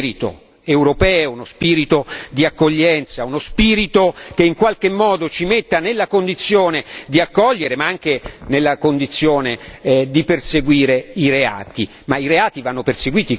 sollecitare uno spirito europeo, uno spirito di accoglienza, uno spirito che in qualche modo ci metta nella condizione di accogliere anche nella condizione di perseguire i reati.